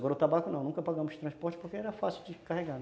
Agora o tabaco não, nunca pagamos transporte porque era fácil de carregar, né.